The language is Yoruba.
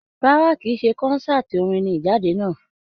Rárá, kìí ṣe kọ́nsàtii orin ní Ijade náà.